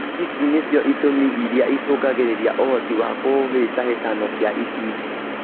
Ici nĩcio itũmi iria ĩcũngagĩrĩria ũhoti wa kũhĩtahĩtano kia itindiĩ